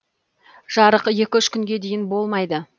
жарық екі үш күнге дейін болмайды